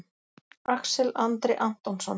Axel Andri Antonsson